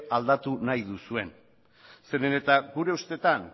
aldatu nahi duzuen gure ustetan